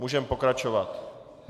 Můžeme pokračovat.